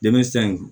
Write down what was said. Dɛmɛ san in don